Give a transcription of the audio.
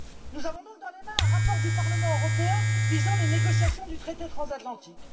Nous avons dans les mains un rapport du Parlement européen sur les négociations du traité transatlantique.